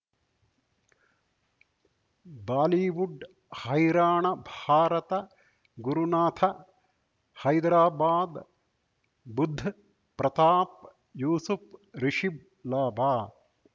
Bollywood ಹೈರಾಣ ಭಾರತ ಗುರುನಾಥ ಹೈದರಾಬಾದ್ ಬುಧ್ ಪ್ರತಾಪ್ ಯೂಸುಫ್ ರಿಷಬ್ ಲಾಭ